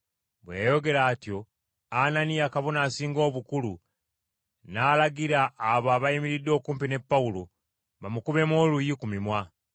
Bwe yayogera atyo, Ananiya, Kabona Asinga Obukulu, n’alagira abo abayimiridde okumpi ne Pawulo bamukubemu oluyi ku mimwa.